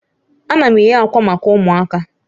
Ana m eghe akwa maka ụmụaka